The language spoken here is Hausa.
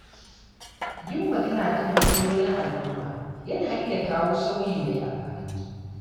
Yin magana kan matsalolin al’umma yana iya kawo sauyi mai amfani.